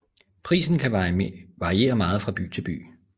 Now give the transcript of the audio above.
Prisen kan variere meget fra by til by